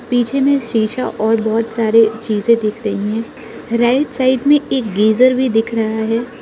पीछे में शीशा और बहुत सारे चीजें दिख रही हैं राइट साइड में एक गीजर भी दिख रहा है।